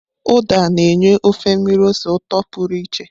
Uda na-enye ofe mmiri ose ụtọ pụrụ iche.